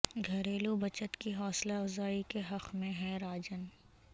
گھریلو بچت کی حوصلہ افزائی کے حق میں ہیں راجن